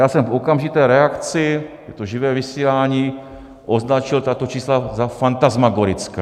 Já jsem v okamžité reakci, je to živé vysílání, označil tato čísla za fantasmagorická.